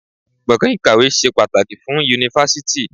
Gbọ̀gàn ìkàwé ṣe pàtàkì fún Yunifásítì.